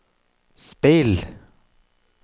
speil